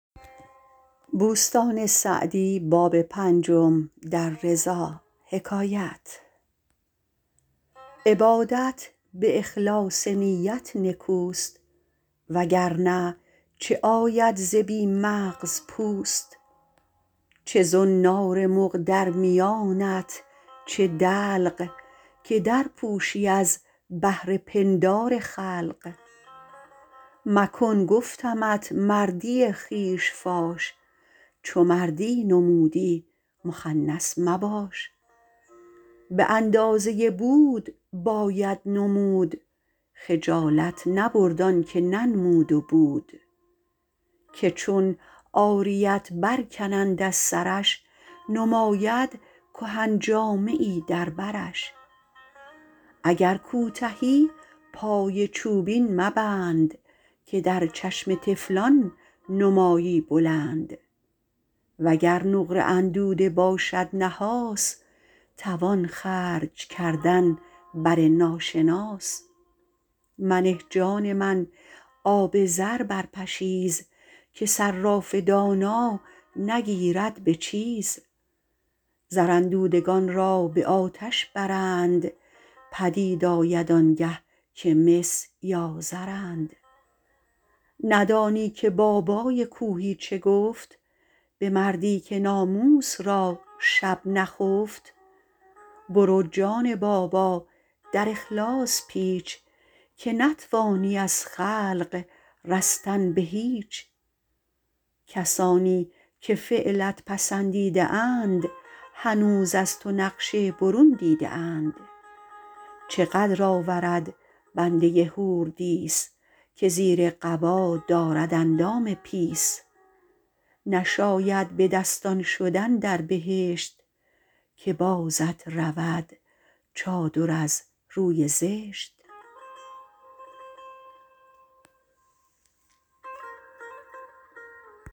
عبادت به اخلاص نیت نکوست وگر نه چه آید ز بی مغز پوست چه زنار مغ در میانت چه دلق که در پوشی از بهر پندار خلق مکن گفتمت مردی خویش فاش چو مردی نمودی مخنث مباش به اندازه بود باید نمود خجالت نبرد آن که ننمود و بود که چون عاریت بر کنند از سرش نماید کهن جامه ای در برش اگر کوتهی پای چوبین مبند که در چشم طفلان نمایی بلند وگر نقره اندوده باشد نحاس توان خرج کردن بر ناشناس منه جان من آب زر بر پشیز که صراف دانا نگیرد به چیز زر اندودگان را به آتش برند پدید آید آنگه که مس یا زرند ندانی که بابای کوهی چه گفت به مردی که ناموس را شب نخفت برو جان بابا در اخلاص پیچ که نتوانی از خلق رستن به هیچ کسانی که فعلت پسندیده اند هنوز از تو نقش برون دیده اند چه قدر آورد بنده حوردیس که زیر قبا دارد اندام پیس نشاید به دستان شدن در بهشت که بازت رود چادر از روی زشت